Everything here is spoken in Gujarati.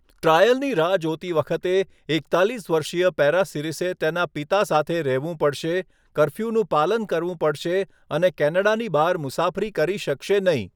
ટ્રાયલની રાહ જોતી વખતે, એકતાલીસ વર્ષીય પેરાસિરિસે તેના પિતા સાથે રહેવું પડશે, કર્ફ્યુનું પાલન કરવું પડશે અને કેનેડાની બહાર મુસાફરી કરી શકશે નહીં.